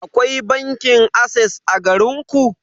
Akwai bankin ases a garinku?